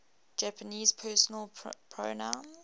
japanese personal pronouns